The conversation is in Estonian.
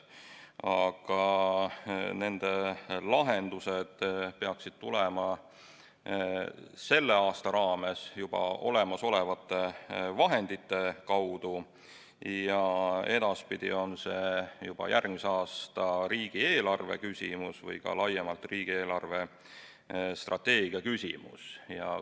Aga nende lahendused peaksid tulema sellel aastal juba olemasolevate vahendite kaudu ja edaspidi on see juba järgmise aasta riigieelarve küsimus või ka laiemalt riigi eelarvestrateegia küsimus.